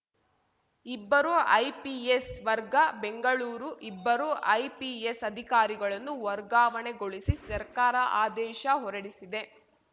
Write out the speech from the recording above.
ಇಬ್ಬರು ಐಪಿಎಸ್‌ ವರ್ಗ ಬೆಂಗಳೂರು ಇಬ್ಬರು ಐಪಿಎಸ್‌ ಅಧಿಕಾರಿಗಳನ್ನು ವರ್ಗಾವಣೆಗೊಳಿಸಿ ಸರ್ಕಾರ ಆದೇಶ ಹೊರಡಿಸಿದೆ